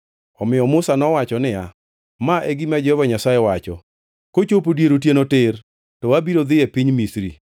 Omiyo Musa nowacho niya, “Ma e gima Jehova Nyasaye wacho: ‘Kochopo dier otieno tir, to abiro dhi e piny Misri.